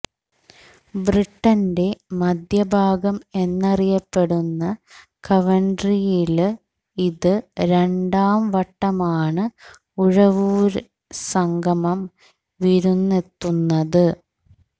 ബ്രിട്ടന്റെ മധ്യഭാഗം എന്നറിയപ്പെടുന്ന കവന്ട്രിയില് ഇത് രണ്ടാം വട്ടമാണ് ഉഴവൂര് സംഗമം വിരുന്നെത്തുന്നത്